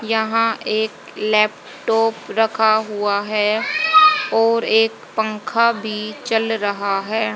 यहां एक लैपटॉप रखा हुआ है और एक पंखा भी चल रहा है।